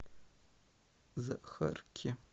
захарке